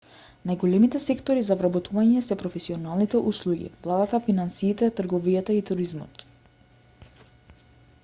најголемите сектори за вработување се професионалните услуги владата финансиите трговијата и туризмот